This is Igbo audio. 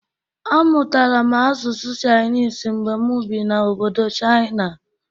Amụtara m asụsụ chịanịs mgbe mụ bi na obodo chịana